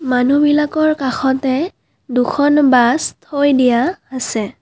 মানুহবিলাকৰ কাষতে দুখন বাছ থৈ দিয়া আছে।